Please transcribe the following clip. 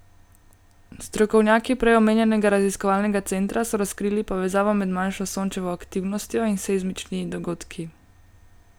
Strokovnjaki prej omenjenega raziskovalnega centra so razkrili povezavo med manjšo Sončevo aktivnostjo in seizmični dogodki.